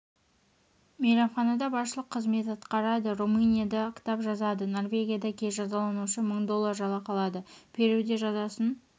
мейрамханада басшылық қызмет атқарады румынияда кітап жазады норвегияда кей жазаланушы мың доллар жалақы алады перуде жазасын